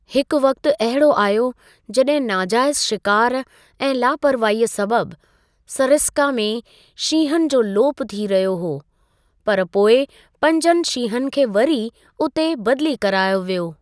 हिकु वक़्ति अहिड़ो आयो जॾहिं नाजाइज़ु शिकार ऐं लापरवाहीअ सबबि सरिस्का में शींहुनि जो लोप थी रहियो हो, पर पोइ पंजनि शींहुनि खे वरी उते बदिली करायो वियो।